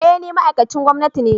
Eh ni ma'aikacin gwamnati ne